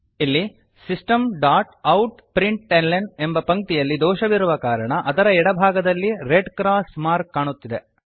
ಇಲ್ಲಿ systemoutಪ್ರಿಂಟ್ಲ್ನ ಎಂಬ ಪಂಕ್ತಿಯಲ್ಲಿ ದೋಷವಿರುವ ಕಾರಣ ಅದರ ಎಡ ಭಾಗದಲ್ಲಿ ರೆಡ್ ಕ್ರಾಸ್ ಮಾರ್ಕ್ ಕಾಣುತ್ತಿದೆ